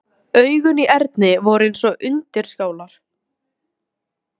Undir stjórn hans tók blaðið stakkaskiptum.